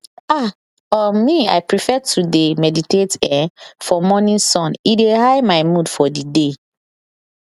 ah um me i prefer to dey meditate[um]for morning sun e dey high my mood for the day